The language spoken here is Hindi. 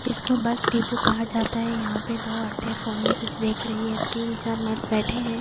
इसको बस डिपो कहा जाता है यहां पे दो औरतें फोन में कुछ देख रही है तीन चार मर्द बैठे हैं।